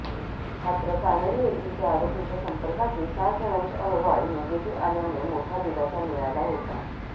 मात्र कानडी येथील त्या आरोपीच्या संपर्कातील सात जणांचे अहवाल निगेटिव्ह आल्याने मोठा दिलासा मिळाला होता